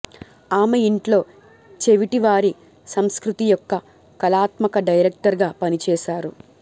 ఆమె ఇంట్లో చెవిటివారి సంస్కృతి యొక్క కళాత్మక డైరెక్టర్ గా పనిచేశారు